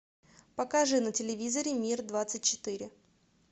покажи на телевизоре мир двадцать четыре